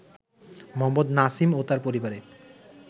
মোহাম্মদ নাসিম ও তার পরিবারের